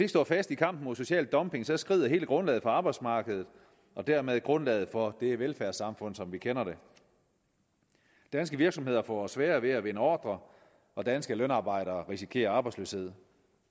står fast i kampen mod social dumping skrider hele grundlaget for arbejdsmarkedet og dermed grundlaget for velfærdssamfundet som vi kender det danske virksomheder får sværere ved at vinde ordrer og danske lønarbejdere risikerer arbejdsløshed